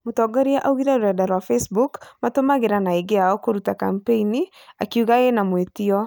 Mũtongoria augire rũrenda rwa facebook , matumagira na aingĩ ao kũruta kampeni ,akiuga ĩna "mwĩtĩo"